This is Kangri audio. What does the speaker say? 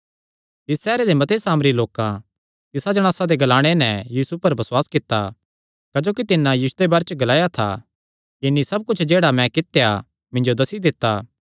तिस सैहरे दे मते सामरी लोकां तिसा जणासा दे ग्लाणे नैं यीशु पर बसुआस कित्ता क्जोकि तिन्नै यीशुये दे बारे च ग्लाया था कि तिन्नी सब कुच्छ जेह्ड़ा मैं कित्या इन्हीं सब कुच्छ मिन्जो दस्सी दित्ता